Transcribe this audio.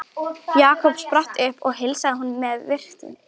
Jakob spratt upp og heilsaði honum með virktum.